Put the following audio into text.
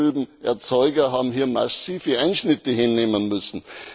die Zuckerrübenerzeuger haben hier massive Einschnitte hinnehmen müssen.